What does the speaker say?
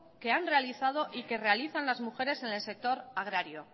que han realizado y que realizan las mujeres en el sector agrario